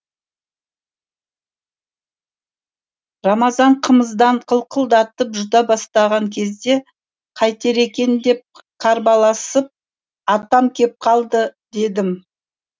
рамазан қымыздан қылқылдатып жұта бастаған кезде қайтер екен деп қарбаласып атам кеп қалды дедім